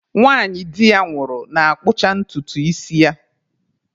Nwanyị di ya nwụrụ na-akpụcha ntutu isi ya.